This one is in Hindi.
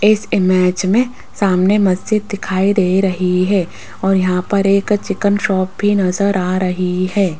इस इमेज में सामने मस्जिद दिखाई दे रही है और यहाँ पर एक चिकन शॉप भी नजर आ रही है।